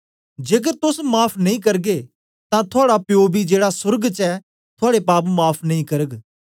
जेकर तोस माफ़ नेई करगे तां थुआड़ा प्यो बी जेड़ा सोर्ग च ऐ थुआड़े पाप माफ़ नेई करग